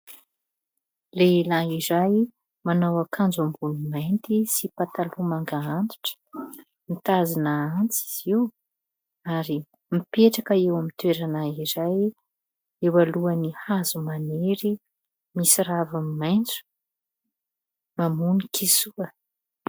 Lehilahy iray manao ankanjo amboniny mainty sy pataloha manga antitra, mitazona antsy izy io ary mipetraka eo amin'ny toerana iray eo alohan'ny hazo maniry misy raviny maitso, mamono kisoa.